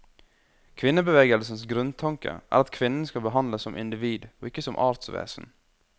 Kvinnebevegelsens grunntanke er at kvinnen skal behandles som individ, og ikke som artsvesen.